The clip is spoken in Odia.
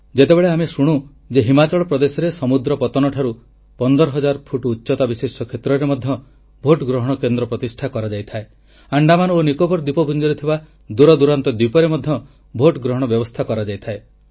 ଯେତେବେଳେ ଆମେ ଶୁଣୁ ଯେ ହିମାଚଳ ପ୍ରଦେଶରେ ସମୁଦ୍ର ପତନ ଠାରୁ 15000 ଫୁଟ ଉଚ୍ଚତା ବିଶିଷ୍ଟ କ୍ଷେତ୍ରରେ ମଧ୍ୟ ଭୋଟ ଗ୍ରହଣ କେନ୍ଦ୍ର ପ୍ରତିଷ୍ଠା କରାଯାଇଥାଏ ଆଣ୍ଡାମାନ ଓ ନିକୋବର ଦ୍ୱୀପପୁଞ୍ଜରେ ଥିବା ଦୂରଦୂରାନ୍ତ ଦ୍ୱୀପରେ ମଧ୍ୟ ଭୋଟ ଗ୍ରହଣ ବ୍ୟବସ୍ଥା କରାଯାଇଥାଏ